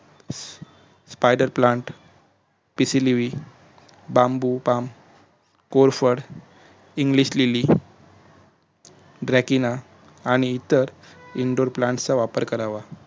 spider plant पिसिलीवि बाबूबाम कोरफड इंग्लीश्लीली drakina आणि इतर indor plant चा वापर करावा